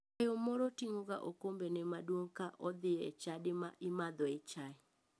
Dayo moro ting'oga okombene maduong ka odhi e chadi ma imadhoe chai.